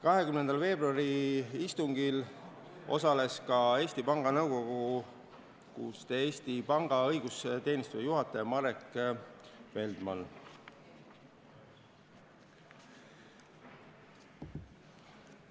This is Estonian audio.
20. veebruari istungil osales ka Eesti Panga õigusteenistuse juhataja Marek Feldman.